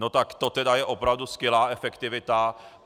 No tak to tedy je opravdu skvělá efektivita!